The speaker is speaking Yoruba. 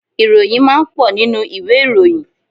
Ìròyìn máa ń pọ̀ nínú ìwé ìròyìn.